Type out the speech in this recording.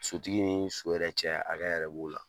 Sotigi ni so yɛrɛ cɛ hakɛ yɛrɛ b'o la.